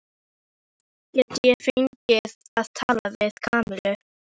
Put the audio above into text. Get ég fengið að tala við Kamillu?